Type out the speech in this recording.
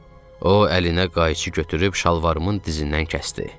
O əlinə qayçı götürüb şalvarımın dizindən kəsdi.